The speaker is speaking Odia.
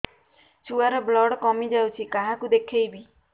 ଛୁଆ ର ବ୍ଲଡ଼ କମି ଯାଉଛି କାହାକୁ ଦେଖେଇବି